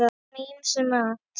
Gott með ýmsum mat.